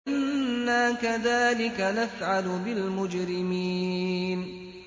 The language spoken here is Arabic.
إِنَّا كَذَٰلِكَ نَفْعَلُ بِالْمُجْرِمِينَ